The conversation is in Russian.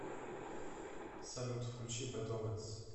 салют включи бэд оменс